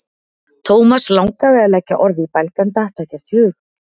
Thomas langaði að leggja orð í belg en datt ekkert í hug.